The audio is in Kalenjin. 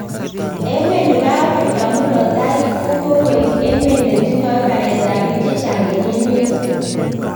Emet nebo Afrika murot taii kokoik emet netindoi baret ab biik chechang en emet tukul